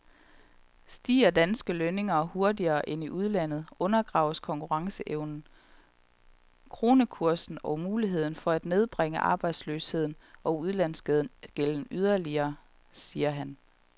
Stiger danske lønninger hurtigere end i udlandet, undergraves konkurrenceevnen, kronekursen og muligheden for at nedbringe arbejdsløsheden og udlandsgælden yderligere, siger han.